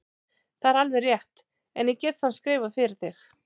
Það er alveg rétt, en ég get samt skrifað fyrir þig.